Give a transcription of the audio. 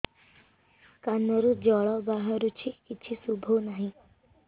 କାନରୁ ଜଳ ବାହାରୁଛି କିଛି ଶୁଭୁ ନାହିଁ